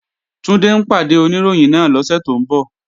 Túndé ń pàdé Oníròyìn náà lọ́sẹ̀ tó ń bọ̀